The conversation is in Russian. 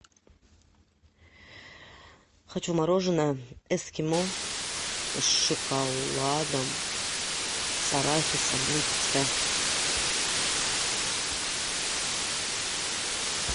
хочу мороженое эскимо с шоколадом с арахисом липецкое